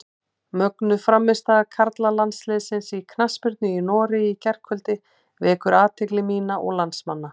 Mögnuð frammistaða karlalandsliðsins í knattspyrnu í Noregi í gærkvöldi vekur athygli mína og landsmanna.